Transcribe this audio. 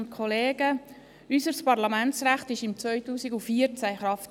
Unser Parlamentsrecht trat 2014 in Kraft.